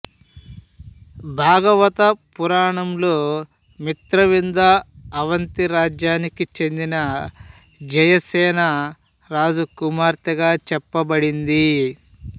భాగవత పురాణంలో మిత్రవింద అవంతి రాజ్యానికి చెందిన జయసేన రాజు కుమార్తెగా చెప్పబడింది